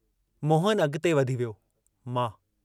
मोहन अॻिते वधी वियो मां"।